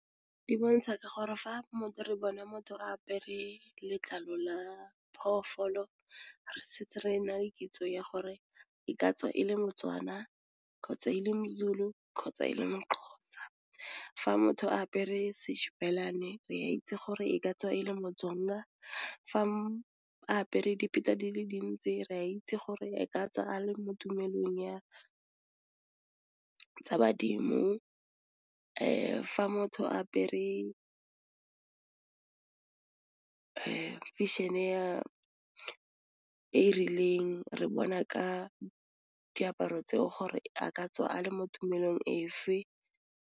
Di bontsha ka gore fa re bona motho apere letlalo la phoofolo re setse re na le kitso ya gore e ka tswa e le mo-Tswana kgotsa e le mo-Zulu kgotsa e le mo-Xhosa, kgotsa fa motho a apere Shibelani, re a itse gore e ka tswa e le mo-Tsonga fa apere di le dintse re a itse gore e ka tswa a le mo tumelong ya ka tsa badimo, fa motho a apere fashion-e rileng, re bona ka diaparo tseo gore a ka tswa a le mo tumelong efe.